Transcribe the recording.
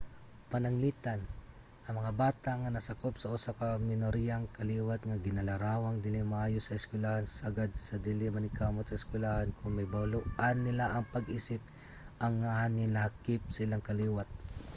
pananglitan ang mga bata nga nasakop sa usa ka minoriyang kaliwat nga ginalarawang dili maayo sa eskwelahan sagad nga dili maningkamot sa eskwelahan kon mahibaloan nila ang pag-isip nga nahilakip sa ilang kaliwat